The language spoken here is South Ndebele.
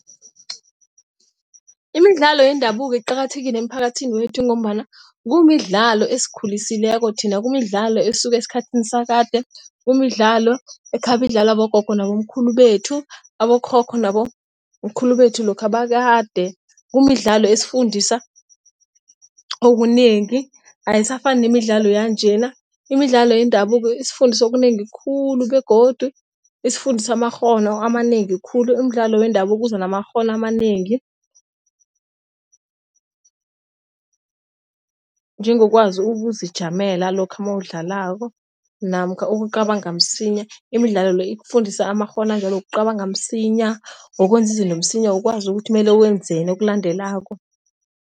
Imidlalo yendabuko iqakathekile emiphakathini wethu ngombana kumidlalo esikhulisileko thina. Kumidlalo esuka esikhathini sakade. Kumidlalo ekhabe idlalwa bogogo nabomkhulu bethu. Abokhokho nabomkhulu bethu lokha bakade. Kumidlalo ezifundisa okunengi ayisafanani nemidlalo yanjena imidlalo yendabuko isifundisa okunengi khulu begodu isifundisa amakghono amanengi khulu. Imidlalo wendabuko uza namakghono amanengi, njengokwazi ukuzijamela lokha nawudlalako namkha ukucabanga msinya. Imidlalo le ikufundisa amakghono anjalo ukucabanga msinya, wokwenza izinto msinya, ukwazi ukuthi mele wenzeni okulandelako.